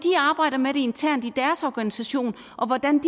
arbejder med det internt i deres organisation og hvordan